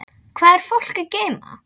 Hvað er fólk að geyma?